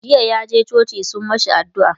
jiya yaje coci sun mashi addu'a